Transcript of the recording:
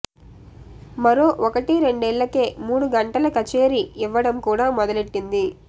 మరో ఒకటి రెండేళ్లకే మూడు గంటల కచేరీ ఇవ్వడం కూడా మొదలెట్టింది